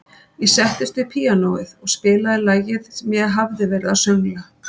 Ég settist við píanóið og spilaði lagið sem ég hafði verið að söngla.